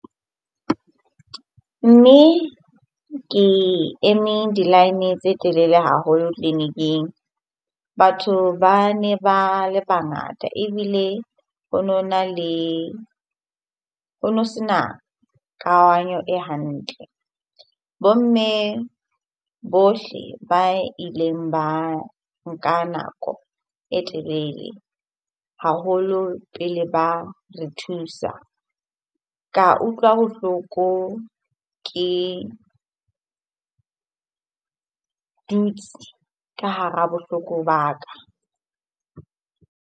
Mme ke eme di-line tse telele haholo tleliniking. Batho ba ne ba le bangata ebile ho nona le, ho no sena e hantle. Bo mme bohle ba ileng ba nka nako e telele haholo pele ba re thusa. Ka utlwa bohloko ke dutse ka hara bohloko ba ka.